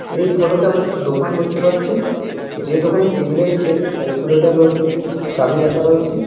এই ফটো -তে আমরা একটা দোকান দেখতে পাচ্ছি যে দোকানে টেবিল -এর উপরে একটি ক্যালকুলেটর ও একটি চাবি রাখা রয়েছে।